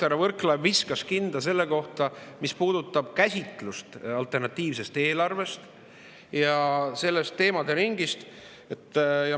Härra Võrklaev viskas kinda selle puhul, mis puudutab alternatiivse eelarve käsitlust ja selle teemaderingi.